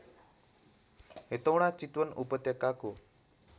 हेटौँडा चितवन उपत्यकाको